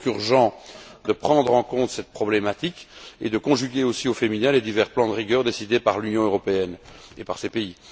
Il est donc urgent de prendre en compte cette problématique et de conjuguer aussi au féminin les divers plans de rigueur décidés par l'Union européenne et par ses pays.